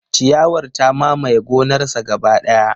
Ciyawar ta mamaye gonarsa gaba daya.